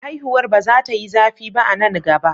Haihuwar ba za ta yi zafi ba a nan gaba.